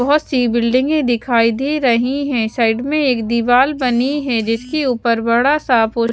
बहोत सी बिल्डिंगे दिखाई दे रही है साइड में एक दिवार बनी है जिसके ऊपर बड़ा सा--